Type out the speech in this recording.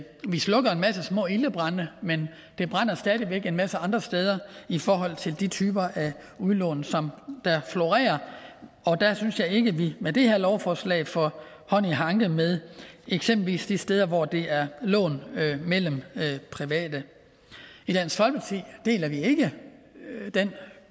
vi slukker en masse små ildebrande men det brænder stadig væk en masse andre steder i forhold til de typer af udlån som der florerer og der synes jeg ikke at vi med det her lovforslag får hånd i hanke med eksempelvis de steder hvor det er lån mellem private i dansk folkeparti deler vi ikke den